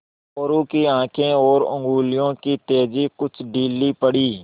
मोरू की आँखें और उंगलियों की तेज़ी कुछ ढीली पड़ी